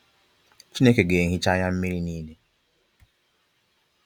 Chineke ga ehichaa anya mmịrị nịịle.